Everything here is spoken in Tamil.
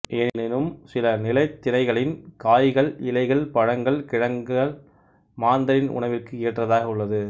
எனினும் சில நிலைத்திணைகளின் காய்கள் இலைகள் பழங்கள் கிழங்கள் மாந்தரின் உணவிற்கு ஏற்றதாக உள்ளது